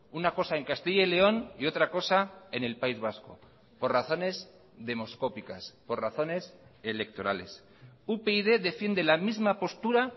una cosa en castilla y león y otra cosa en el país vasco por razones demoscópicas por razones electorales upyd defiende la misma postura